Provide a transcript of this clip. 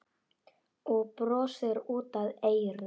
Og brosir út að eyrum.